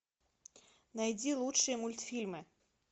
найди лучшие мультфильмы